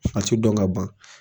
A ka ti dɔn ka ban